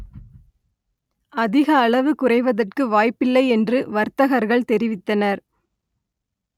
அதிக அளவு குறைவதற்கு வாய்ப்பில்லை என்று வர்த்தகர்கள் தெரிவித்தனர்